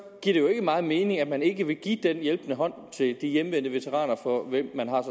giver det jo ikke meget mening at man ikke vil give den hjælpende hånd til de hjemvendte veteraner for hvem man har